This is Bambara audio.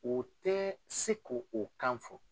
U tɛ se ko o kan fɔ.